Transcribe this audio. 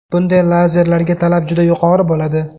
Bunday lazelarga talab juda yuqori bo‘ladi.